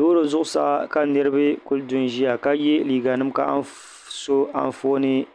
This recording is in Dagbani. lori zuɣ' saa ka lori kuli dun ʒɛya ka yɛ liga nim ka anƒɔni